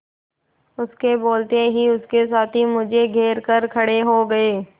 उसके बोलते ही उसके साथी मुझे घेर कर खड़े हो गए